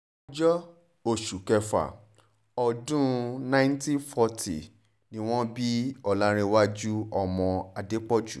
ọgbọ̀njọ oṣù kẹfà ọdún nineteen forty ni wọ́n bí ọ̀lárèwájú ọmọ adépọ́jù